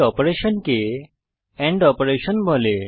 এই অপারেশনকে end operation বলে